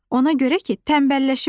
Ona görə ki, tənbəlləşiblər.